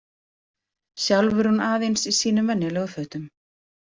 Sjálf var hún aðeins í sínum venjulegu fötum.